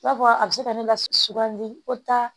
I b'a fɔ a bɛ se ka ne la sugandi ko ta